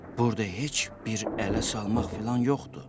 Burda heç bir ələ salmaq filan yoxdur.